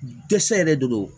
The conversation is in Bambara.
Dɛsɛ yɛrɛ de don